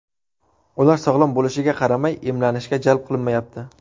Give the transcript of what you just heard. Ular sog‘lom bo‘lishiga qaramay, emlanishga jalb qilinmayapti.